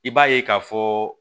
I b'a ye k'a fɔ